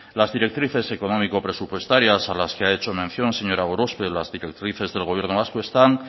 las directrices económico presupuestarias a las que ha hecho mención señora gorospe las directrices del gobierno vasco están